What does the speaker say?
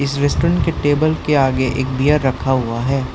इस रेस्टोरेंट के टेबल के आगे एक बियर रखा हुआ है।